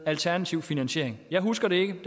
alternativ finansiering jeg husker det ikke